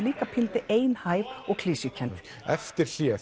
líka pínulítið einhæf og klisjukennd eftir hlé